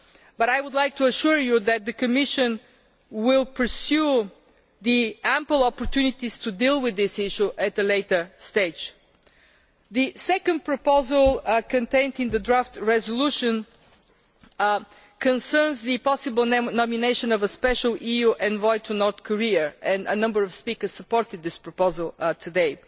However, I would like to assure you that the Commission will pursue the ample opportunities to deal with this issue at a later stage. The second proposal contained in the motion for a resolution concerns the possible nomination of an EU special envoy to North Korea, and a number of speakers supported this proposal today.